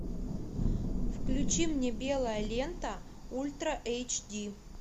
включи мне белая лента ультра эйч ди